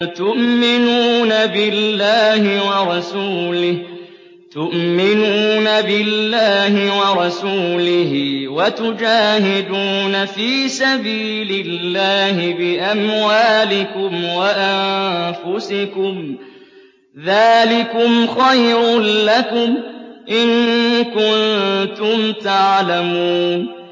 تُؤْمِنُونَ بِاللَّهِ وَرَسُولِهِ وَتُجَاهِدُونَ فِي سَبِيلِ اللَّهِ بِأَمْوَالِكُمْ وَأَنفُسِكُمْ ۚ ذَٰلِكُمْ خَيْرٌ لَّكُمْ إِن كُنتُمْ تَعْلَمُونَ